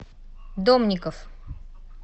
домников